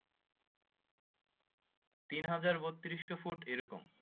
তিন হাজার বত্রিশ ফুট এই রকম